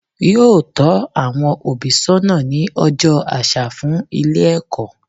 Yóò tó àwon òbí sónà ní ojó asa fún Ilé èkó